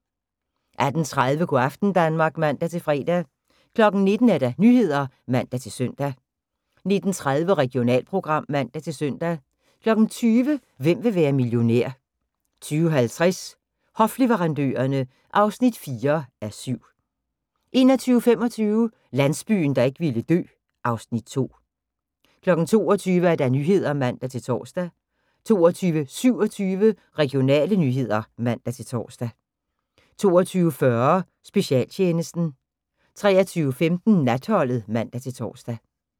18:30: Go' aften Danmark (man-fre) 19:00: Nyhederne (man-søn) 19:30: Regionalprogram (man-søn) 20:00: Hvem vil være millionær? 20:50: Hofleverandørerne (4:7) 21:25: Landsbyen, der ikke ville dø (Afs. 2) 22:00: Nyhederne (man-tor) 22:27: Regionale nyheder (man-tor) 22:40: Specialtjenesten 23:15: Natholdet (man-tor)